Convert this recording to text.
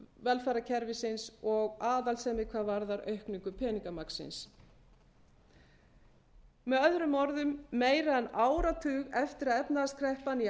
velferðarkerfisins og aðhaldssemi hvað varðar aukningu peningamagnsins með öðrum orðum meira en áratug eftir að efnahagskreppan í